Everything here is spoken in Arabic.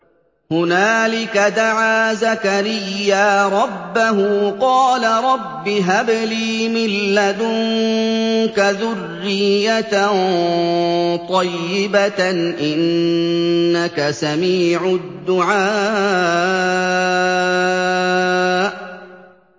هُنَالِكَ دَعَا زَكَرِيَّا رَبَّهُ ۖ قَالَ رَبِّ هَبْ لِي مِن لَّدُنكَ ذُرِّيَّةً طَيِّبَةً ۖ إِنَّكَ سَمِيعُ الدُّعَاءِ